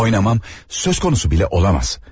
Benim oynamam söz konusu bile olamaz.